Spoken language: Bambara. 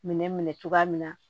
Minɛn minɛ cogoya min na